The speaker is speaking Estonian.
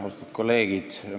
Austatud kolleegid!